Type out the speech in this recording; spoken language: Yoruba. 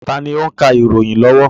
Taàní ó ń ka ìròyìn lọ́wọ́?